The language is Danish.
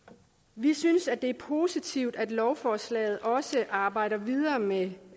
vi synes det er positivt at lovforslaget også arbejdes videre med